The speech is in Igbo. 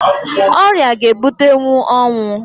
Ọrịa ga ebutenwu ọnwụ